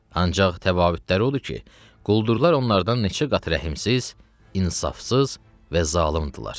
Ancaq təfavütləri odur ki, quldurlar onlardan neçə qat rəhmsiz, insafsız və zalımdırlar.